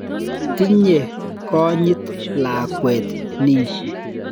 Tinye konyit lakwa nin.